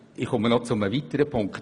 Doch es gibt einen weiteren Punkt: